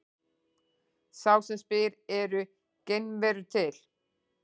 Sá sem spyr Eru geimverur til?